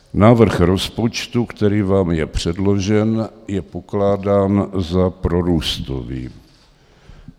Návrh rozpočtu, který vám je předložen, je pokládán za prorůstový.